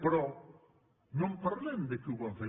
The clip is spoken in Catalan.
però no en parlem dels qui ho van fer